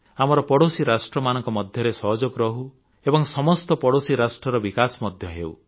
ଆମର ପଡ଼ୋଶୀ ରାଷ୍ଟ୍ରମାନଙ୍କ ମଧ୍ୟରେ ସହଯୋଗ ରହୁ ଏବଂ ସମସ୍ତ ପଡ଼ୋଶୀ ରାଷ୍ଟ୍ରର ବିକାଶ ମଧ୍ୟ ହେଉ